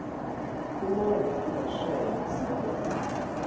kumave angesheya isebenta